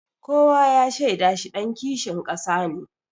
Kowa ya shaida shi ɗan kishin ƙasa ne.